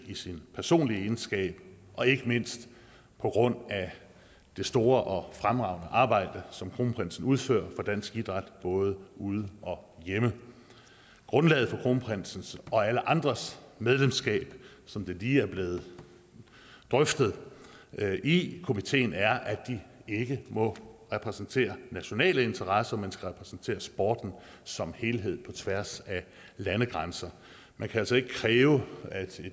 i sin personlige egenskab og ikke mindst på grund af det store og fremragende arbejde som kronprinsen udfører for dansk idræt både ude og hjemme grundlaget for kronprinsens og alle andres medlemskab som det lige er blevet drøftet i komiteen er at de ikke må repræsentere nationale interesser men skal repræsentere sporten som helhed på tværs af landegrænser man kan altså ikke kræve at et